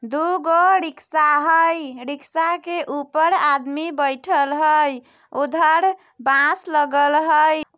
दुगो रिक्शा हई रिक्शा के ऊपर आदमी बइठल हई उधर बांस लगल हई।